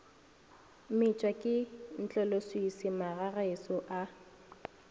metšwa ke ntloleswiswi magagešo a